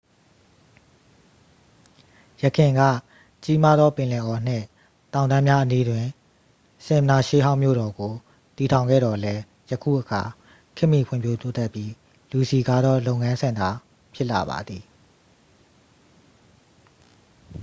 ယခင်က ကြီးမားသော ပင်လယ်အော်နှင့် တောင်တန်းများအနီးတွင် ဆင်မ်နာ ရှေးဟောင်းမြို့တော်ကို တည်ထောင်ခဲ့သော်လည်း ယခုအခါ ခေတ်မီဖွံ့ဖြိုးတိုးတက်ပြီး လူစည်ကားသော လုပ်ငန်းစင်တာ ဖြစ်လာပါသည်